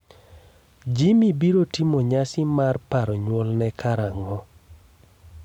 Jimmy biro timo nyasi mar paro nyuolne karang'o?